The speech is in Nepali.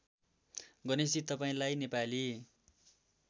गणेशजी तपाईँंलाई नेपाली